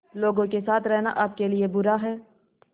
लोगों के साथ रहना आपके लिए बुरा है